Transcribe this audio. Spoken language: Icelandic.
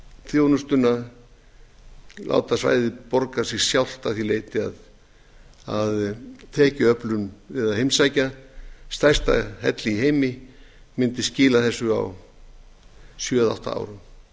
láni og láta svæðið borga sig sjálft að því leyti að tekjuöflun við að heimsækja stærsta helli í heimi mundi skila þessu á sjö eða átta